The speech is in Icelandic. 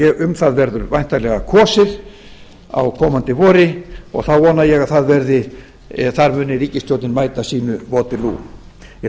um það verður væntanlega kosið á komandi vori og þá vona ég að þar muni ríkisstjórnin mæta sínu waterloo ég